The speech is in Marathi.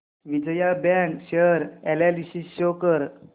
Vijaya bank share analysis show कर